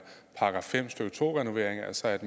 § fem stykke to renovering altså at